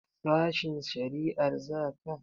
Sashen shari'a za ka?